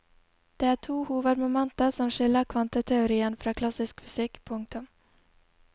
Det er to hovedmomenter som skiller kvanteteorien fra klassisk fysikk. punktum